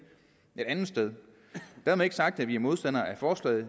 et andet sted dermed ikke sagt at vi er modstandere af forslaget